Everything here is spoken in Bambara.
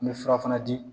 N bɛ fura fana di